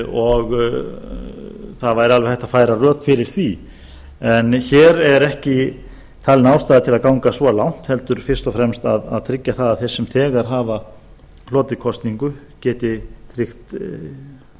og það væri alveg hægt að færa rök fyrir því en hér er ekki talin ástæða til að ganga svo langt heldur fyrst og fremst að tryggja það að þeir sem þegar hafa hlotið kosningu geti tryggt